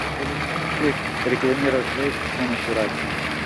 салют можно ли рекламировать вэйп с помощью радио